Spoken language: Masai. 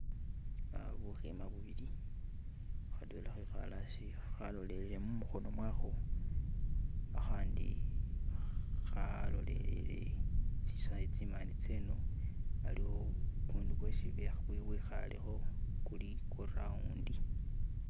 Eha bukima bubili khadwela khekale hasi khalolele mukhono mwakho khakhandi khalolele tsimande tseno haliwo gugundu gwesi bwekhalekho guli gwa roundi.